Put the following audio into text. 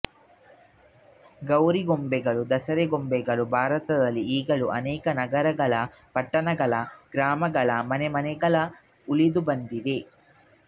ಗೌರಿಗೊಂಬೆಗಳೂ ದಸರೆ ಗೊಂಬೆಗಳೂ ಭಾರತದಲ್ಲಿ ಈಗಲೂ ಅನೇಕ ನಗರಗಳ ಪಟ್ಟಣಗಳ ಗ್ರಾಮಗಳ ಮನೆಮನೆಗಳಲ್ಲಿ ಉಳಿದು ಬಂದಿವೆ